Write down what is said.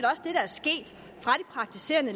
praktiserende